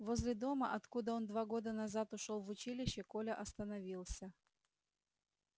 возле дома откуда он два года назад ушёл в училище коля остановился